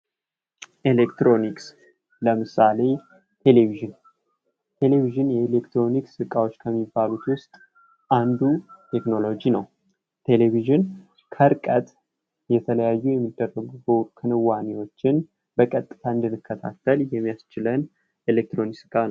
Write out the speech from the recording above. ኤሌክትሮኒክስ ለምሳሌ ቴሌቪዥን ቴሌቪዥን ከኤሌክትሮኒክስ እቃዎች ውስጥ ከሚባሉት ውስጥ አንዱ ቴክኖሎጂ ነው ካርቀት የተለያዩ የሚደረጉ ከነዋሪዎችን በቀጥታ እንድንከታተል የሚያስችለት የኤሌክትሮኒክስ እቃ ነው።